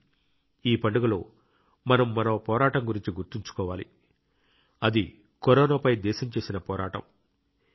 కానీ ఈ పండుగలో మనం మరో పోరాటం గురించి గుర్తుంచుకోవాలి అది కరోనాపై దేశం చేసిన పోరాటం